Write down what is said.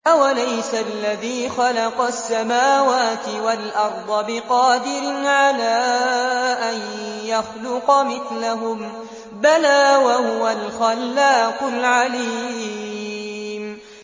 أَوَلَيْسَ الَّذِي خَلَقَ السَّمَاوَاتِ وَالْأَرْضَ بِقَادِرٍ عَلَىٰ أَن يَخْلُقَ مِثْلَهُم ۚ بَلَىٰ وَهُوَ الْخَلَّاقُ الْعَلِيمُ